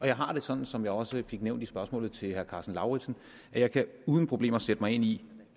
jeg har det sådan som jeg også fik nævnt i spørgsmålet til herre karsten lauritzen at jeg uden problemer kan sætte mig ind i